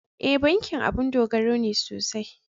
E, bankin abun dogaro ne sosai.